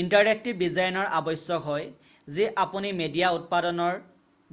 interactive ডিজাইনৰ আৱশ্যক হয় যি আপুনি মিডিয়া উৎপাদনৰ